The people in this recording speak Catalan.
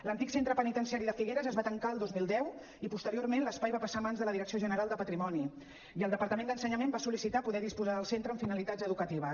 l’antic centre penitenciari de figueres es va tancar el dos mil deu i posteriorment l’espai va passar a mans de la direcció general de patrimoni i el departament d’ensenyament va sol·licitar poder disposar del centre amb finalitats educatives